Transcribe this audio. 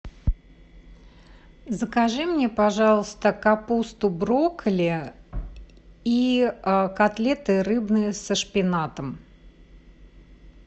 закажи мне пожалуйста капусту брокколи и котлеты рыбные со шпинатом